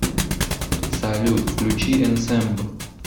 салют включи энсэмб